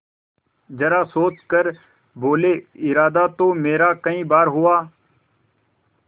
जरा सोच कर बोलेइरादा तो मेरा कई बार हुआ